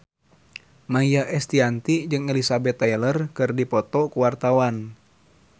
Maia Estianty jeung Elizabeth Taylor keur dipoto ku wartawan